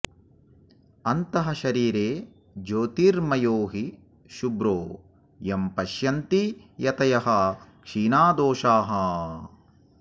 अन्तःशरीरे ज्योतिर्मयो हि शुभ्रो यं पश्यन्ति यतयः क्षीणदोषाः